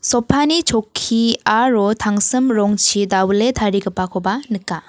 sofa-ni chokki aro tangsim rongchi dawile tarigipakoba nika.